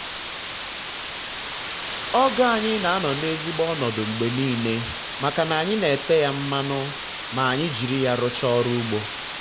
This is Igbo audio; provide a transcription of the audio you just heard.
ọgụ anyị na anọ na ezigbo ọnọdụ mgbe nile maka na anyị na-ete ya mmanụ ma anyị jiri ya rụcha ọrụ ugbo